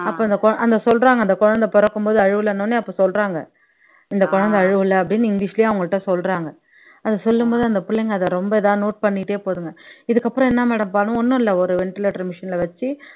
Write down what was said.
அப்ப அந்த குழ அந்த சொல்றாங்க அந்த குழந்தை பிறக்கும்போது அழுவலைன்ன உடனே அப்ப சொல்றாங்க இந்த குழந்தை அழுவலை அப்படின்னு இங்கிலிஷ்லயே அவங்ககிட்ட சொல்றாங்க அத சொல்லும் போது அந்த பிள்ளைங்க அத ரொம்ப இதா note பண்ணிட்டே போகுதுங்க இதுக்கப்புறம் என்ன madam பாண்ணு ஒண்ணும் இல்ல ஒரு ventilator machine ல வச்சு